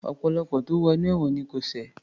Ọ̀pọ̀lọpọ̀ tó wo inú ẹ̀wọ̀n ni kò ṣẹ̀